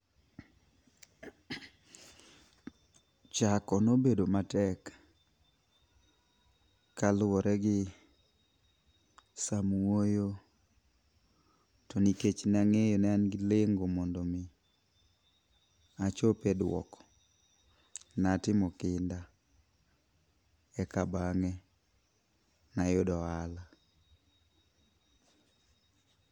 Chako nobedo matek kaluwore gi samwoyo to nikech ne ang'eyo ne an gi lengo mondo mi achop e duoko. Ne atimo kinda e ka bang'e ne ayudo ohala.